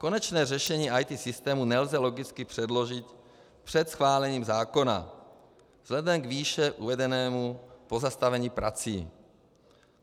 Konečné řešení IT systémů nelze logicky předložit před schválením zákona vzhledem k výše uvedenému pozastavení prací.